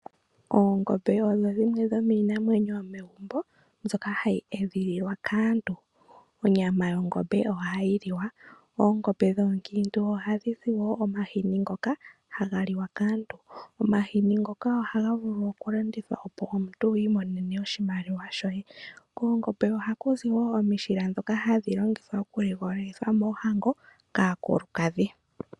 Oongombe odho dhimwe dhomiinamwenyo yomegumbo ndhoka hadhi edhililwa kaantu. Onyama yongombe ohayi liwa. Oongombe dhoonkiintu ohadhi zi wo omahini ngoka ha ga liwa kaantu. Omahini ngoka ohaga vulu oku landithwa opo omuntu wu imonene oshimaliwa shoye. Koongombe oha ku zi wo omishila dho ku ligolitha moohango kaakulukadhi.